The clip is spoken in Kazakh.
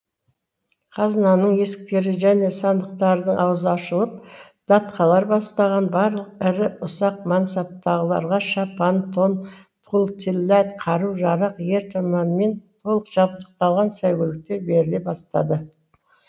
қазынаның есіктері және сандықтардың аузы ашылып датқалар бастаған барлық ірі ұсақ мансапталарға шапан тон пұл тиллә қару жарақ ер тұрманмен толық жабдықталған сәйгүліктер беріле бастады